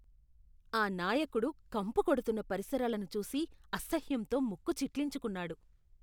ఆ నాయకుడు కంపు కొడుతున్న పరిసరాలను చూసి అసహ్యంతో ముక్కు చిట్లించుకున్నాడు.